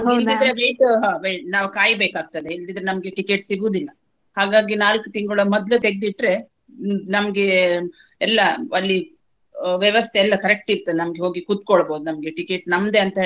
wait ಹಾ ನಾವ್ ಕಾಯ್ಬೇಕಾಗ್ತದೆ ಇಲ್ದಿದ್ರೆ ನಮ್ಗೆ ticket ಸಿಗುವುದಿಲ್ಲಾ. ಹಾಗಾಗಿ ನಾಲ್ಕು ತಿಂಗಳು ಮೊದ್ಲೆ ತೆಗ್ದಿಟ್ರೆ ನೀ ನಮ್ಗೆ ಎಲ್ಲಾ ಅಲ್ಲಿ ಆ ವ್ಯವಸ್ಥೆಯೆಲ್ಲ correct ಇರ್ತದೆ. ನಮ್ಗೆ ಹೋಗಿ ಕುತ್ಕೋಬಹುದು ನಮ್ಗೆ ticket ನಮ್ದೆ ಅಂತ.